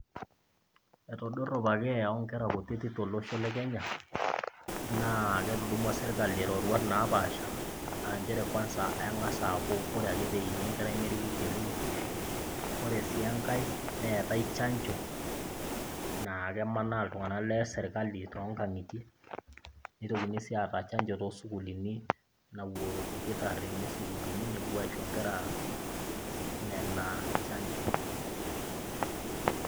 Eitodorropa keeya oonkera kutitik tolosho le Kenya naa ketudumua serkali roruat naapaasha [aa] nchere kwanza eng'as aaku kore ake peeini enkerai neriki  kilinik. Ore sii engai neetai chanjo naakemanaa iltung'ana leserkali tongang'itie, neitokini sii aata chanjo toosukulini napuo ilkitarrini sukulini nepuo aisho nkera nena chanjo.